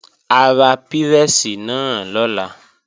A ra pírẹ́sì náà lọ́la